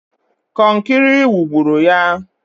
Kọnkịrị wugburu ya!